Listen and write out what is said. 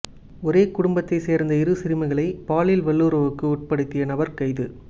ஒரே குடும்பத்தை சேர்ந்த இரு சிறுமிகளை பாலியல் வல்லுறவுக்கு உட்படுத்திய நபர் கைது